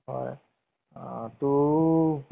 আৰু সেই কাৰণে বুলি কয় যে।